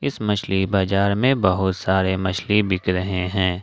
इस मछली बाजार में बहुत सारे मछली बिक रहे हैं।